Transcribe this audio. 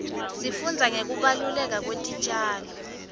sifundza ngekubaluleka kwetitjalo